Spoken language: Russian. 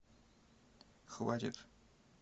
хватит